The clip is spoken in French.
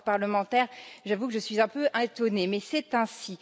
En tant que parlementaire, j'avoue que je suis un peu étonnée, mais c'est ainsi.